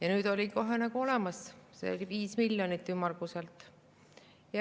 Aga nüüd oli kohe olemas 5 miljonit, ümmarguselt.